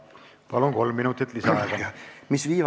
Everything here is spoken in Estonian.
Palun, kolm minutit lisaaega!